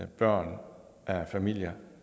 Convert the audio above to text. børn af familier